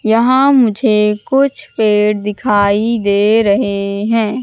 यहां मुझे कुछ पेड़ दिखाई दे रहे हैं।